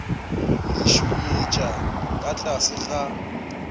le šunyetša ka tlase ga